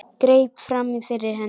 Greip fram í fyrir henni.